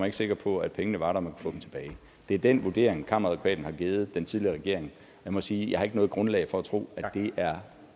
ikke sikker på at pengene var der og få dem tilbage det er den vurdering kammeradvokaten har givet den tidligere regering jeg må sige at jeg har ikke noget grundlag for at tro at det er